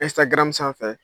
Instagram sanfɛ